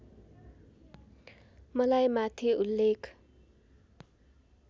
मलाई माथि उल्लेख